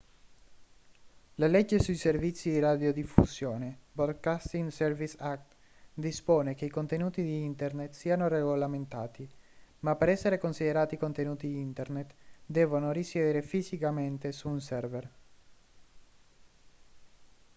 la legge sui servizi di radiodiffusione broadcasting services act dispone che i contenuti di internet siano regolamentati ma per essere considerati contenuti internet devono risiedere fisicamente su un server